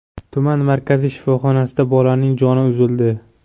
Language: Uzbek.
Tuman markaziy shifoxonasida bolaning joni uzildi.